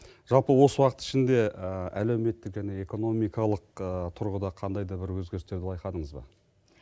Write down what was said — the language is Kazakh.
жалпы осы уақыт ішінде әлеуметтік және экономикалық тұрғыда қандай да бір өзгерістерді байқадыңыз ба